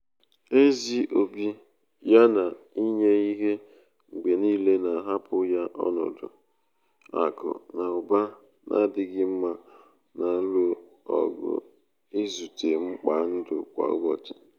ezi obi ya na inye ihe mgbe niile na-ahapụ ya n’ọnọdụ akụ na ụba na-adịghị mma na-alụ ọgụ izute mkpa ndụ kwa ụbọchị.